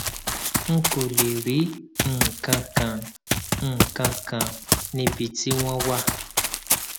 n kò lè rí nǹkan kan nǹkan kan níbi tí wọn wà